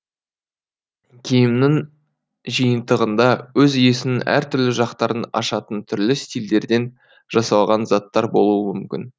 киімнің жиынтығында өз иесінің әр түрлі жақтарын ашатын түрлі стильдерден жасалған заттар болуы мүмкін